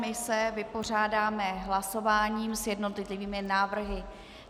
My se vypořádáme hlasováním s jednotlivými návrhy.